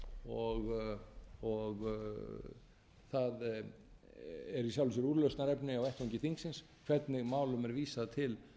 það er í sjálfu sér úrlausnarefni á vettvangi þingsins hvernig málum er vísað til